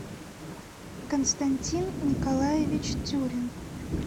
константин николаевич тюрин